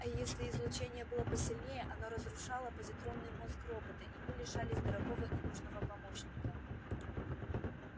а если излучение было посильнее оно разрушало позитронный мозг робота и мы лишались дорогого и нужного помощника